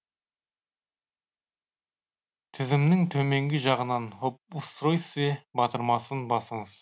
тізімнің төменгі жағынан об устройстве батырмасын басыңыз